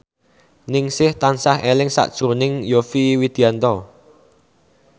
Ningsih tansah eling sakjroning Yovie Widianto